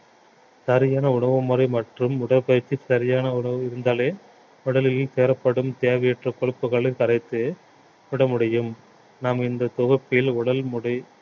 சரியான உணவுமுறை மற்றும் உடற்பயிற்சி சரியான உணவு இருந்தாலே உடலில் சேரப்படும் தேவையற்ற கொழுப்புகளை கரைத்து விட முடியும் நாம் இந்த தொகுப்பில் உடல் முடி~